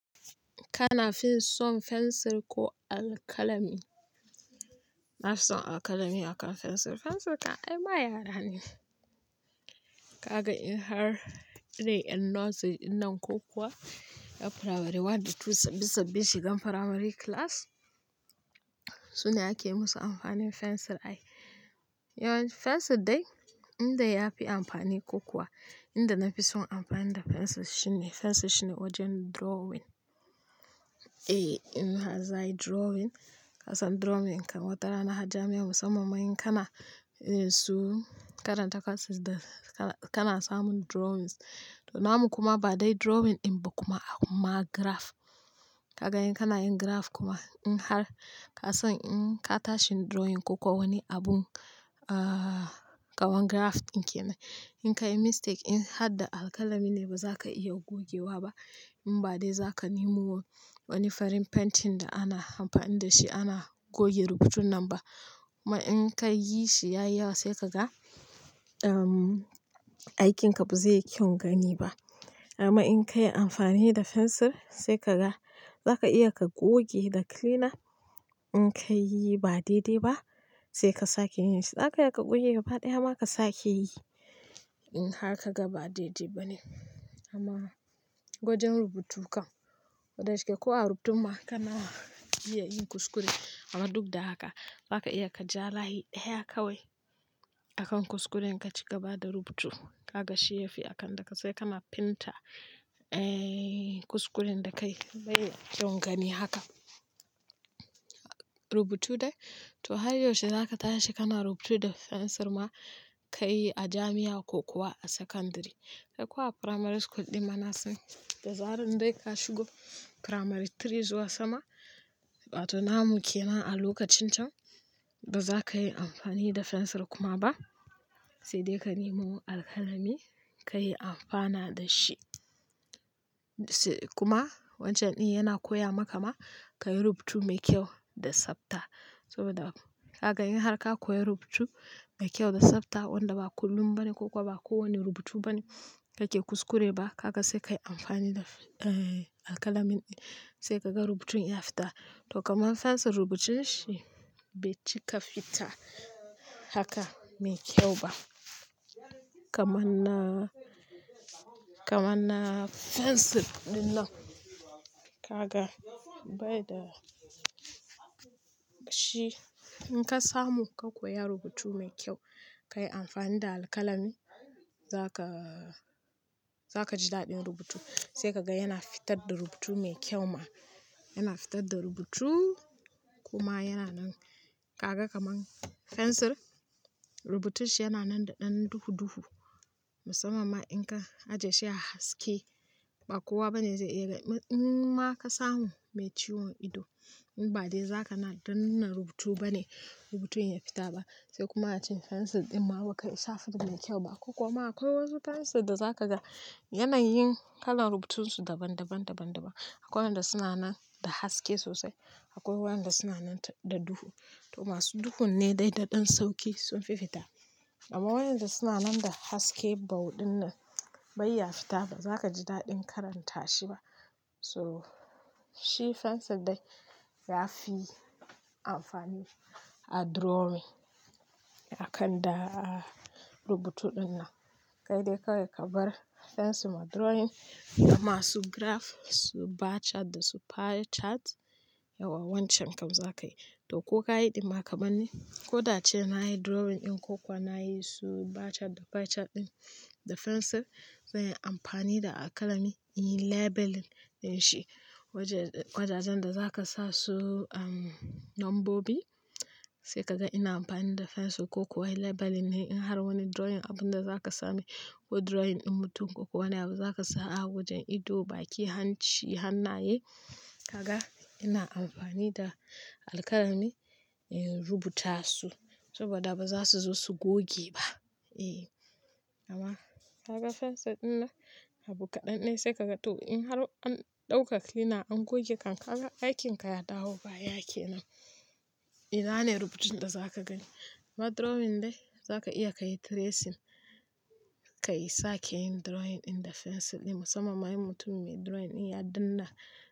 Kana finson fensir ko alkalami? Nafison alkalami akan fensir. Fensir kan ai ma yara ne. Kaga in har irin ʼyan nursery ɗinnan ko kuwa ʼyan primary one da two sabbin shigan primary class, su ne ake musu amfanin fensir ai. Yawan fensir dai inda yafi amfani ko kuwa inda nafison amfani da fensir shine, fensir shine wajen drawing. Eh, in har za'ai drawing, ka san drawing kan watara na har jami'a musamman ma in kana su karanta courses da kana samun drawings. To namu kuma ba dai drawing in ba kuma a kuma graph. Kaga in kana yin graph kuma in har ka san in ka tashi drawing ko ko wani abun, ah, ƙawan graph in kenan. In ka yi mistake in har da alkalami ne ba za ka iya gogewa ba. In ba dai za ka nemo wani farin painting da ana amfani da shi ana goge rubutun nan ba. Kuma in ka yishi yayi yawa sai ka ga, ehm, aikinka ba zai yi kyau gani ba. Amma in ka yi amfani da fensir, sai ka ga za ka iya ka goge da cleaner. In ka yi ba daidai ba, sai ka sake yin shi. Za ka iya ka goge gaba ɗayama ka sake yi. In har ka ga ba daidai ba ne. Amma wajen rubutu kan, kodashike ma ko a rubutun ma kana iya yin kuskure. Amma duk da haka za ka iya ka ja layi ɗaya kawai akan kuskuren ka ci gaba da rubutu. Kaga shi yafi akan da ka tsaya kana painter, eh, kuskuren da ka yi bai kyon gani haka. Rubutu dai, to har yaushe za ka tashi kana rubutu da fensir ma ka yi a jami'a ko kuwa a sakandiri. Kai ko a primary school ɗinma na san. Da zaran dai ka shigo primary three zuwa sama, wa to namu kenan a lokacin can, ba za ka yi amfani da fensir kuma ba. Sai dai ka nemo alkalami ka yi amfana da shi. Kuma wancan din yana koya maka ma ka yi rubutu mai kyau da tsafta. Saboda, kaga in har ka koya rubutu mai kyau da tsafta wanda ba kullum ba ne ko ko ba kowane rubutu ba ne kake kuskure ba, kagw sai ka yi amfani da, eh, alkalami din. Sai ka ga rubutun ya fita. To kaman fensir rubucin shi bai cika fita haka mai kyau ba. Kamanna, kamanna fensir din nan, ka ga bai da shi. In ka samu ka koya rubutu mai kyau, ka yi amfani da alkalami za ka, za ka ji daɗin rubutu. Sai ka ga yana fitar da rubutu mai kyau ma. Yana fitar da rubutu kuma yana nan. Kaga kamar fensir, rubutun shi yana nan da ɗan duhu duhu. Musamman ma in ka aje shi a haske, ba kowa bane zai iya. In ma ka samu mai ciwon ido, in ba dai za ka na danna rubutu ba ne rubutun ya fita ba. Sai kuma a cikin fensir din ma ba kai isa fidin mai kyau ba. Ko kuma akwai wasu fensir da za ka ga yanayin kalan rubutun su daban-daban, daban-daban. Akwai wanda suna nan da haske sosai. Akwai waʼyanda suna nan da duhu. To masu duhun ne dai da ɗan sauki sun fi fita. Amma waʼyanda suna nan da haske bauɗin nan bai ya fita bazaka ji daɗin karanta shi ba. So shi fensir dai ya fi amfani a drawing akan da rubutu ɗin nan. Kai dai kawai ka bar fensir ma drawing da masu graph, su bar chart da su pie chart. Yawa wancan kam za kayi. To kokayi ɗin ma kamar ni, ko da'ace na yi drawing in ko kuwa na yi su bar chart da pie chart ɗin da fensir, zanyi amfani da alkalami in yi labeling din shi. Wajajen da za ka sa su, um, nombobi. Sai ka ga ina amfani da fensir ko kuwa labeling ne. In har wani drawing abun da za ka sami ko drawing din mutum ko wani abu za ka sa a wajen ido, baki, hanci hannaye, ka ga ina amfani da alkalami in rubuta su. Saboda ba zasu zo su goge ba. Eh, amma ka ga fensir din nan, abu kaɗan nayi sai ka ga to in har an ɗauka cleaner an goge kan ka ga aikin ka ya dawo baya kenan. Ina ne rubucin da za ka gani. Amma drawing dai za ka iya ka yi tracing. Ka yi sake yin drawing ɗin da fensir ɗin musamman ma in mutum mai drawing ɗin ya danna.